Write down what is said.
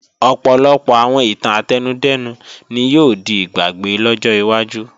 Ọ̀pọ̀lọpọ̀ àwọn ìtàn átẹnudẹ́nu ni yóò di ìgbàgbé lọ́jọ́ wájú